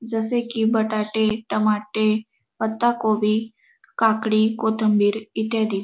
जसे की बटाटे टमाटे पत्ताकोबी काकडी कोथिंबीर इत्यादी --